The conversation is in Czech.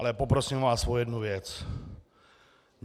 Ale poprosím vás o jednu věc.